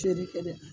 Feere kɛ dɛ